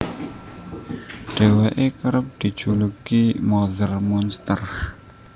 Dhéwéké kerep dijuluki Mother Monster